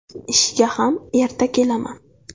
Ishga ham erta kelaman.